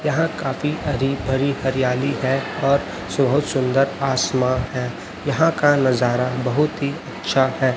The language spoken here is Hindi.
यहां काफी हरी भरी हरियाली है और बहुत सुंदर आसमान है यहां का नजारा बहुत ही अच्छा है।